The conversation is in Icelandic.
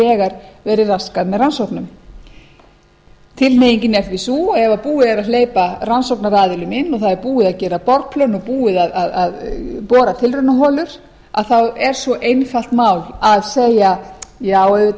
þegar verið raskað með rannsóknunum tilhneigingin er því sú að ef búið er að hleypa rannsóknaraðilum inn og það er búið að gera borplön og búið að bora tilraunaholur þá er svo einfalt mál að segja já auðvitað